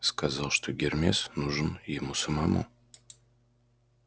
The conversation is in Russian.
сказал что гермес нужен ему самому